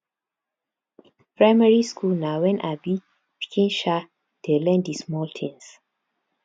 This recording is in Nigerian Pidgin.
primary school na when um pikin um dey learn di small things